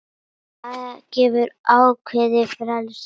Það gefur ákveðið frelsi.